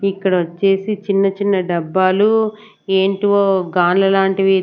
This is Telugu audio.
ఇక్కడ వచ్చేసి చిన్న చిన్న డబ్బాలు ఏంటో గాన్ల లాంటివి.